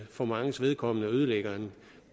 for manges vedkommende ødelægger en